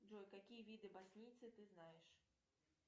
джой какие виды боснийцы ты знаешь